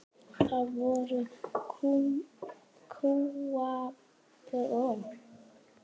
Þá voru kúabúin smá.